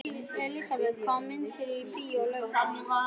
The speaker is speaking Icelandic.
Elisabeth, hvaða myndir eru í bíó á laugardaginn?